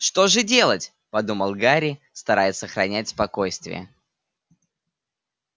что же делать подумал гарри стараясь сохранять спокойствие